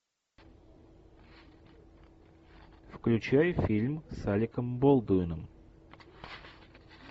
включай фильм с алеком болдуином